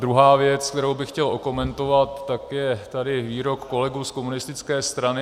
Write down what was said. Druhá věc, kterou bych chtěl okomentovat, tak je tady výrok kolegů z komunistické strany.